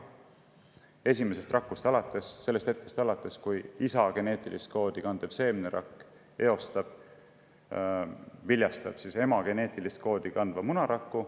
Ja seda esimesest rakust alates, sellest hetkest alates, kui isa geneetilist koodi kandev seemnerakk viljastab ema geneetilist koodi kandva munaraku.